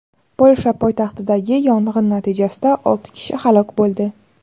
Polsha poytaxtidagi yong‘in natijasida olti kishi halok bo‘ldi.